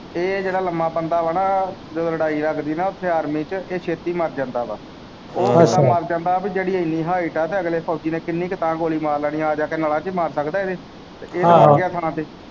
ਇਹ ਜਿਹੜਾ ਲੰਮਾ ਬੰਦਾ ਆ ਨਾ ਜਦੋਂ ਲੜਾਈ ਲਗਦੀ ਨਾ ਓਥੇ ਆਰਮੀ ਚ ਇਹ ਛੇਤੀ ਮਰ ਜਾਂਦਾ ਵਾ ਅੱਛਾ ਉਹ ਬੰਦਾ ਮਰ ਜਾਂਦਾ ਜਿਹੜੀ ਇੰਨੀ height ਆ ਅਗਲੇ ਫੌਜੀ ਨੇ ਕਿੰਨੀ ਕੁ ਤਾਂ ਗੋਲੀ ਮਾਰ ਲੈਣੀ ਆ ਆ ਜਾ ਕੇ ਨਲਾਂ ਚ ਈ ਮਾਰ ਸਕਦਾ ਇਹਦੇ ਆਹੋ